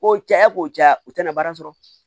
Ko caya ko ja u tɛna baara sɔrɔ